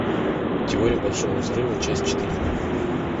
теория большого взрыва часть четыре